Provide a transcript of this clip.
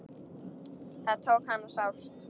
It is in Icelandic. Það tók hana sárt.